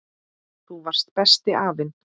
Þú varst besti afinn.